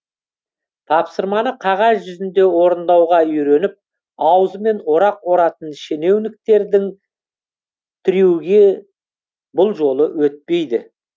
тапсырманы қағаз жүзінде орындауға үйреніп аузымен орақ оратын шенеуніктердің трюгі бұл жолы өтпейді